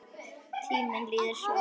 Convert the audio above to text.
Tíminn líður svo hratt.